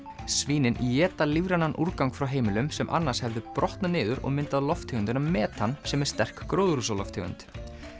svínin éta lífrænan úrgang frá heimilum sem annars hefði brotnað niður og myndað lofttegundina metan sem er sterk gróðurhúsalofttegund